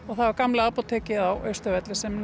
það var gamla apótekið á Austurvelli sem